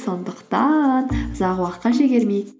сондықтан ұзақ уақытқа шегермейік